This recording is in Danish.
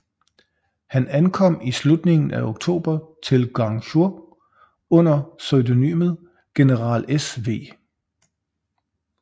Han ankom i slutningen af oktober til Guangzhou under pseudonymet General sV